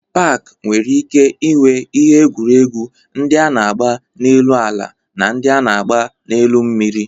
Pak nwere ike inwe ihe egwuregwu ndị a na-agba n'elu ala na ndị a na-agba n'elu mmiri.